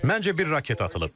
Məncə bir raket atılıb.